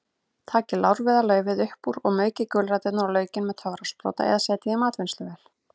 Takið lárviðarlaufið upp úr og maukið gulræturnar og laukinn með töfrasprota eða setjið í matvinnsluvél.